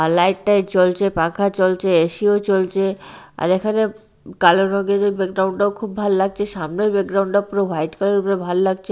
আর light টাইট জ্বলছে পাখা চলছে এ_সি -ও চলছে আর এখানে কালো রংয়ের ব্যাকগ্রাউন্ড -টাও খুব ভাল্লাগছে সামনের ব্যাকগ্রাউন্ড -টা পুরো হোয়াইট কালার -এর উপরে ভাল্লাগছে।